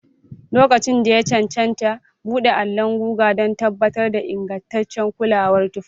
Lokacin da ya cancanta, buɗe allon guga don tabbatar da ingantaccen kulawar tufafi.